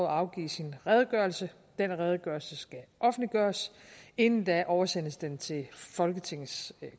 afgive sin redegørelse den redegørelse skal offentliggøres inden da oversendes den til folketingets